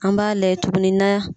An b'a layɛ tuguni na